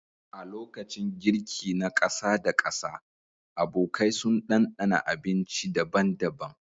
A lokacin girki na ƙasa da ƙasa, abokai sun ɗanɗana abinci daban-daban